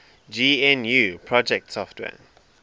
gnu project software